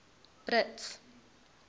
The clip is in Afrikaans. brits